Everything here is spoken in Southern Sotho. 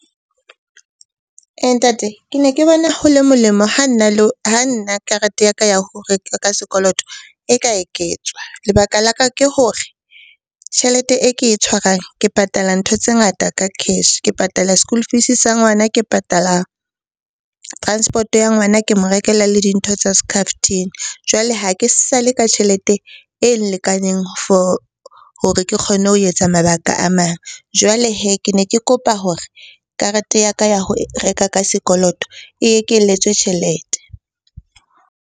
Ntate, ke ne ke bona ho le molemo ha nna karete ya ka ya ho reka ka sekoloto e ka eketswa. Lebaka la ka ke hore tjhelete e ke e tshwarang ke patala ntho tse ngata ka cash. Ke patala school fees sa ngwana, ke patala transport-o ya ngwana, ke mo rekela le dintho tsa scarftin. Jwale ha ke sale ka tjhelete e lekaneng for hore ke kgonlne ho etsa mabaka a mang. Jwale hee, ke ne ke kopa hore karete ya ka ya ho reka ka sekoloto e ekeletswe tjhelete.